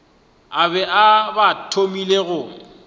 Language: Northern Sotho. ba be ba thomile go